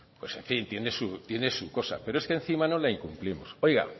en fin tiene su cosa pero es que encima no la incumplimos oiga